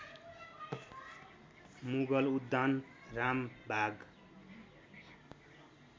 मुगल उद्यान रामबाग